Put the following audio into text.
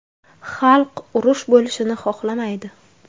Xalq urush bo‘lishini xohlamaydi.